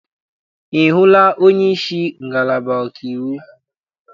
Ị hụla onyeisi ngalaba ọkaiwu?